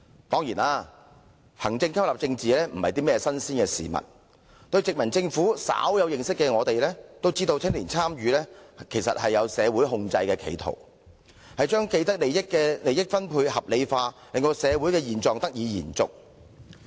當然，行政吸納政治非新鮮事，只要對殖民政府稍有認識的都知道，青年參與其實包含社會控制的企圖，把既得利益者的利益分配合理化，令社會現狀得以延續。